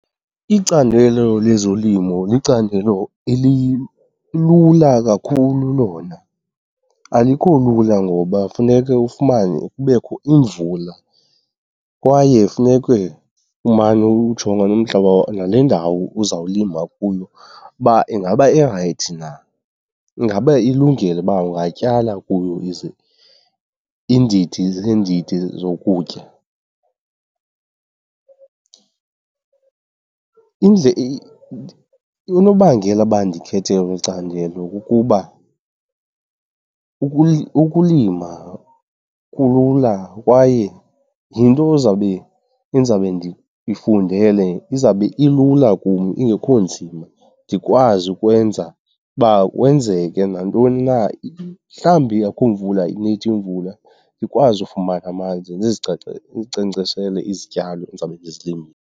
Icandelo lezolimo licandelo elilula kakhulu lona. Alikho lula ngoba funeke ufumane, kubekho imvula kwaye funeke umane uwujonga umhlaba nale ndawo uzawulima kuyo uba ingaba irayithi na, ingaba ilungile uba ungatyala kuyo iindidi zeendidi zokutya. Unobangela uba ndikhethe eli candelo kukuba ukulima kulula kwaye yinto endizabe ndiyifundele, izawube ilula kum ingekho nzima. Ndikwazi ukwenza uba kwenzeke nantoni na , mhlawumbi akukho mvula, ayinethi imvula, ndikwazi ufumana amanzi ndizinkcenkceshele izityalo endizawube ndizilimile.